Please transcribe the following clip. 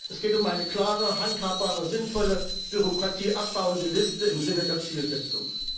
Es geht um eine klare, handhabbare, sinnvolle, Bürokratie abbauende Liste im Sinne der Zielsetzung.